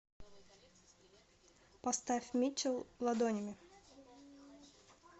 поставь митчел ладонями